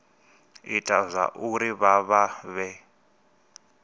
ita zwauri vha vha vhe